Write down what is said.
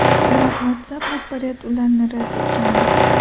Biroq WhatsApp rahbariyati ularni rad etgandi.